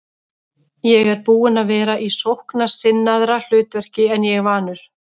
Ég er búinn að vera í sóknarsinnaðra hlutverki en ég er vanur.